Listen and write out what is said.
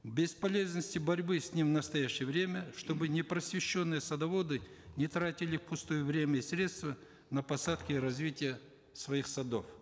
бесполезности борьбы с ним в настоящее время чтобы непросвещенные садоводы не тратили впустую время и средства на посадки и развитие своих садов